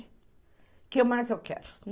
O que mais eu quero?